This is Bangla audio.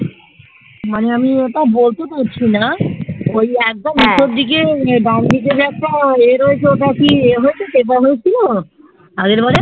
মানে আমি এটা বলতে চাইছি না ওই একদম নিচের দিকে দেন দিকে যে একটা ইয়ে রয়েছে ওটা কি ইয়ে হয়ে চাপা হয়েছিল আগের বাড়ে